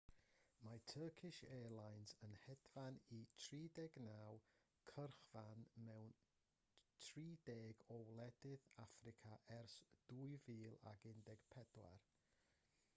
mae turkish airlines yn hedfan i 39 cyrchfan mewn 30 o wledydd affrica ers 2014